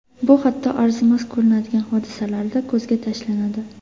Bu hatto arzimas ko‘rinadigan hodisalarda ko‘zga tashlanadi.